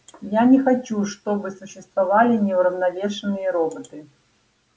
я не хочу чтобы существовали неуравновешенные роботы